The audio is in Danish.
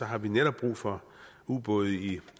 har vi netop brug for ubåde i